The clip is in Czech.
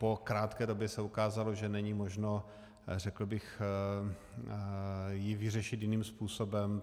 Po krátké době se ukázalo, že není možno, řekl bych, ji vyřešit jiným způsobem.